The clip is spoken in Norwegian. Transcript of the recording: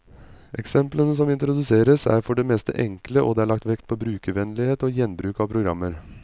Eksemplene som introduseres, er for det meste enkle, og det er lagt vekt på brukervennlighet og gjenbruk av programmer.